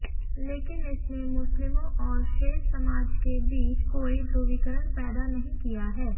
लेकिन इसने मुस्लिमों और शेष समाज के बीच कोई ध्रुवीकरण पैदा नहीं किया है